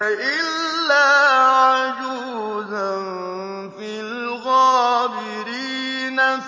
إِلَّا عَجُوزًا فِي الْغَابِرِينَ